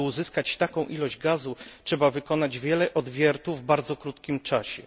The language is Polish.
Aby uzyskać taką ilość gazu, trzeba wykonać wiele odwiertów w bardzo krótkich czasie.